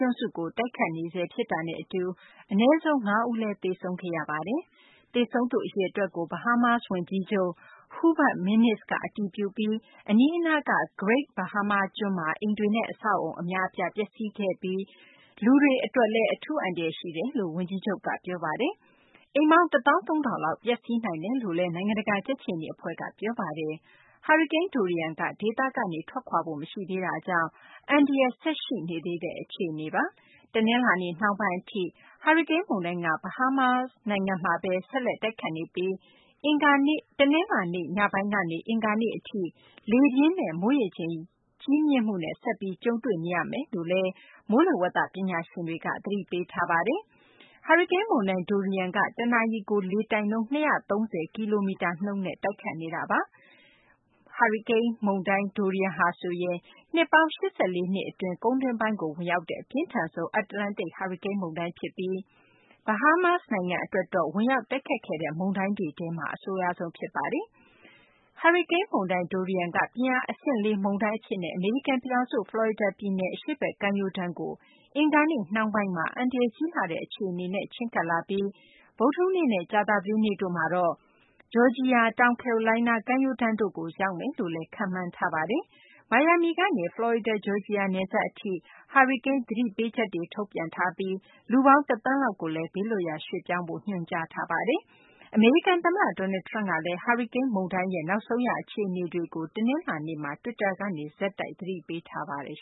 ွန်းစုကို တိုက်ခတ်နေဆဲ ဖြစ်တာနဲ့ အတူ အနည်းဆုံး ၅ ဦးလည်း သေဆုံးခဲ့ရပါတယ်။ သေဆုံးသူ အရေအတွက်ကို Bahamas ဝန်ကြီးချုပ် Hubert Minnis က အတည်ပြုပြီး အနီးအနားက Great Bahama ကျွန်းမှာ အိမ်တွေနဲ့ အဆောက်အအုံ အများအပြား ပျက်စီးခဲ့တာနဲ့ အတူ လူတွေ အတွက်လည်း အထူး အန္တရာယ် ရှိနေတယ်လို့ ဝန်ကြီးချုပ်က ပြောပါတယ်။ အိမ်ပေါင်း ၁၃၀၀၀ လောက် ပျက်စီးနိုင်တယ်လို့လည်း နိုင်ငံတကာ ကြက်ခြေနီ အဖွဲ့က ပြောဆိုထားပါတယ်။ ဟာရီကိန်း Dorian က ဒေသကနေ ထွက်ခွာဖို့ မရှိသေးတာကြောင့် အန္တရာယ် ဆက်ပြီး ရှိနေသေးတဲ့ အခြေအနေပါ။ တနလာၤနေ့ နှောင်းပိုင်း အထိ ဟာရီကိန်း မုန်တိုင်းက ဘဟားမား နိုင်ငံမှာဘဲ ဆက်လက် တိုက်ခတ်နေပြီး တနလာၤနေ့ ညပိုင်းကနေ အင်္ဂါနေ့ အထိ လေပြင်းနဲ့ မိုးရေချိန် ကြီးမြင့်မှုနဲ့ ဆက်ပြီး ကြုံတွေ့နေရမယ်လို့လည်း မိုးလေဝသ ပညာရှင်တွေက သတိပေးထားပါတယ်။ ဟာရီကိန်း မုန်တိုင်း Dorian က တနာရီကို လေတိုက်နှုန်း ၁၅၅ မိုင်နှုန်း တိုက်ခတ်နေတာပါ။ ဟာရီကိန်း Dorian က နှစ်ပေါင်း ၈၄ နှစ် အတွင်း ကုန်းတွင်းပိုင်းကို ဝင်ရောက်တဲ့ အပြင်းထန်ဆုံး အတ္တလန္တိတ် ဟာရီကိန်း မုန်တိုင်း ဖြစ်ပြီး Bahamas နိုင်ငံကို ဝင်ရောက် တိုက်ခတ်တဲ့ မုန်တိုင်းတွေထဲမှာ အဆိုးရွားဆုံး ဖြစ်ပါတယ်။ ဟာရီကိန်း မုန်တိုင်း Dorian က ပြင်းအား အဆင့် ၄ မုန်တိုင်း အဖြစ်နဲ့ အမေရိကန် ပြည်ထောင်စု ဖလော်ရီဒါ ပြည်နယ် အရှေ့ဘက် ကမ်းရိုးတ်းကို အင်္ဂါနေ့ နှောင်းပိုင်းမှာ အန္တရာယ် ကြီးလှတဲ့ အခြေအနေနဲ့ ချဉ်းကပ်လာပြီး ဗုဒ္ဓဟူးနေ့နဲ့ ကြာသပတေးနေ့တို့မှာတော့ ဂျော်ဂျီယာ၊ တောင်ကယ်ရိုလိုင်းနား ကမ်းရိုးတန်းတို့ကို ရောက်မယ်လို့ မိုးလေဝသ ပညာရှင်တို့က ခန့်မှန်းထားပါတယ်။ မိုင်ယာမီကနေ ဖလော်ရီဒါ - ဂျော်ဂျီယာ နယ်စပ် အထိ ဟာရီကိန်း သတိပေးချက်တွေ ထုတ်ပြန်ထားပါတယ်။ ဖလော်ရီဒါ ပြည်နယ်ကနေ တောင်ကယ်ရိုလိုင်းနား ပြည်နယ် အထိ လူပေါင်း ၁ သန်းလောက်ကိုလည်း ဘေးလွတ်ရာ ရွှေ့ပြောင်းဖို့ ညွန်ကြားထားပါတယ်။ အမေရိကန် သမ္မတ Donald Trump ကလည်း ဟာရီကိန်း မုန်တိုင်း Dorian ရဲ့ နောက်ဆုံး ရ အခြေအနေတွေကို တနလာၤနေ့မှာ တွစ်တာကနေ ဆက်တိုက် သတိပေးနေပါတယ်။